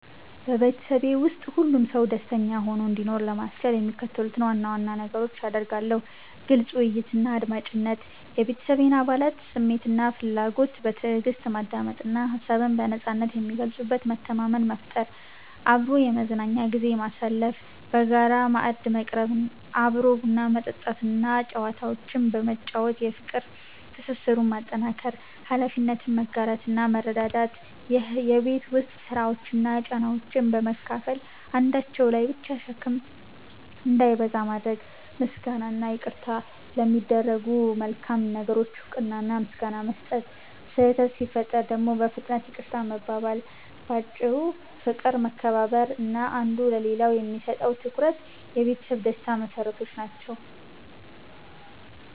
በቤተሰቤ ውስጥ ሁሉም ሰው ደስተኛ ሆኖ እንዲኖር ለማስቻል የሚከተሉትን ዋና ዋና ነገሮች አደርጋለሁ፦ ግልጽ ውይይትና አድማጭነት፦ የቤተሰቤን አባላት ስሜትና ፍላጎት በትዕግስት ማዳመጥ እና ሀሳብን በነጻነት የሚገልጹበት መተማመን መፍጠር። አብሮ የመዝናኛ ጊዜ ማሳለፍ፦ በጋራ ማዕድ መቅረብ፣ አብሮ ቡና መጠጣት እና ጨዋታዎችን በመጫወት የፍቅር ትስስሩን ማጠናከር። ኃላፊነትን መጋራትና መረዳዳት፦ የቤት ውስጥ ስራዎችን እና ጫናዎችን በመካፈል አንዳቸው ላይ ብቻ ሸክም እንዳይበዛ ማድረግ። ምስጋናና ይቅርታ፦ ለሚደረጉ መልካም ነገሮች እውቅና እና ምስጋና መስጠት፣ ስህተት ሲፈጠር ደግሞ በፍጥነት ይቅርታ መባባል። ባጭሩ፦ ፍቅር፣ መከባበር እና አንዱ ለሌላው የሚሰጠው ትኩረት የቤተሰብ ደስታ መሰረቶች ናቸው።